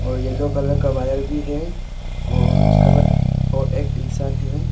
और yellow colour का wire भी है और उसके पास एक इंसान है।